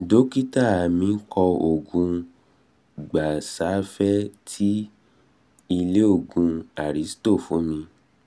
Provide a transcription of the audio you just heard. dọkítà mí kọ òògun gabasafe ti ilé òògùn aristo fún mi